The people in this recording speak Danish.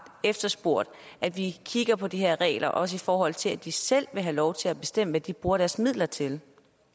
efterspurgt at vi kigger på de her regler også i forhold til at de selv vil have lov til at bestemme hvad de bruger deres midler til